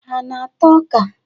Ha ana-ata ọ́kà?